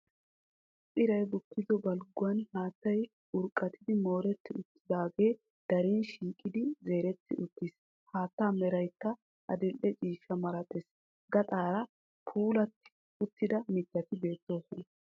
Iray Bukkido Balgguwan Haattay Urqqatidi Mooretti Uttidaagebissi Diran Shiiqidi Zeeretti Uttis. Haattaa Meraykka Adil'e Ciishsha Malatees. Gaxaara Puulatti Uttida Mittati Beettoosona